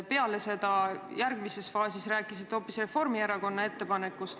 Peale seda, järgmises faasis rääkisite hoopis Reformierakonna ettepanekust.